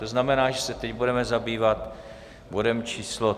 To znamená, že se teď budeme zabývat bodem číslo